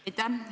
Aitäh!